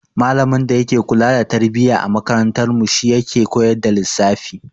Malamin da yake kula da tarbiyya a makarantarmu shi yake koyar da lissafi.